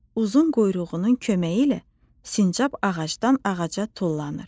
Uzun quyruğunun köməyi ilə sincab ağacdan ağaca tullanır.